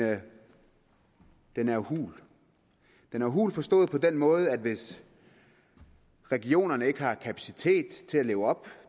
den er jo hul den er hul forstået på den måde at hvis regionerne ikke har kapacitet til at leve op